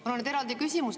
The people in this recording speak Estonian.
Mul on nüüd eraldi küsimus.